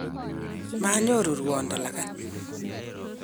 manyoru ruondo lagat